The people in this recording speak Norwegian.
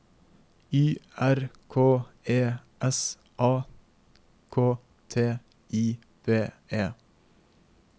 Y R K E S A K T I V E